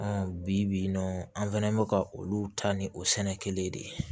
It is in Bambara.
bi bi in na an fɛnɛ bɛ ka olu ta ni o sɛnɛ kelen ye de